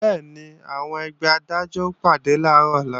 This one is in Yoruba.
Bẹ́ẹ̀ni, àwọn ẹgbẹ́ Adájọ́ ó pàdé làárọ̀ ọ̀la